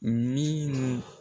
Minnu